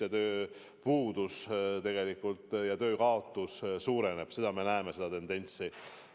Ja tööpuudus, töökoha kaotamine suureneb, seda tendentsi me näeme.